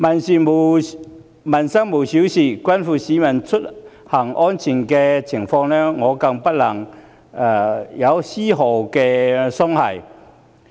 所謂"民生無小事"，關乎市民出行安全的問題，大家更不能有絲毫鬆懈。